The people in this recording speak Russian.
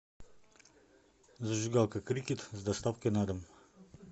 зажигалка крикет с доставкой на дом